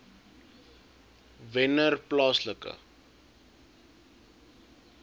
wennerplaaslike